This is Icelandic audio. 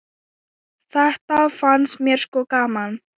Þetta fannst mér sko gaman.